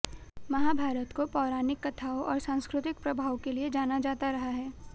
महाभारत को पौराणिक कथाओं और सांस्कृतिक प्रभाव के लिए जाना जाता रहा है